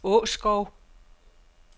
Åskov